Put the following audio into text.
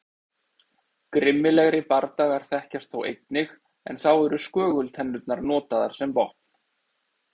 Grimmilegri bardagar þekkjast þó einnig en þá eru skögultennurnar notaðar sem vopn.